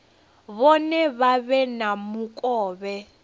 vhone vha vhe na mukovhe